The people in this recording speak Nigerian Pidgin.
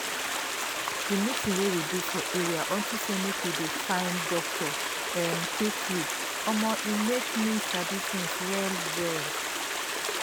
di meeting wey we do for area unto say make we dey find doctor um quick quick um e make me sabi tins well well.